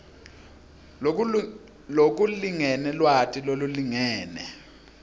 lokulingene lwati lolulingene